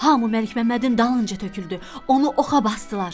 Hamı Məlikməmmədin dalınca töküldü, onu oxa basdılar.